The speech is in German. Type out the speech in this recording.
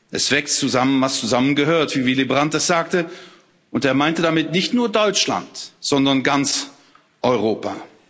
Es wächst zusammen, was zusammengehört, wie Willy Brandt es sagte, und er meinte damit nicht nur Deutschland, sondern ganz Europa.